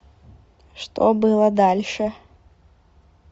что было дальше